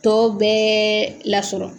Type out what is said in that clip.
Tɔw bɛɛ lasɔrɔ